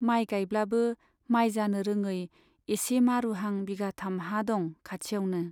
माइ गाइब्लाबो माइ जानो रोङै एसे मारुहां बिघाथाम हा दं खाथियावनो।